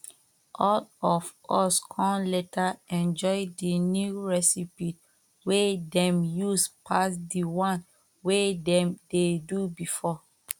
all of us come later enjoy the new recipe wey dem use pass the one wey dem dey do before